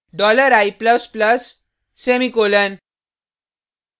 dollar i plus plus semicolon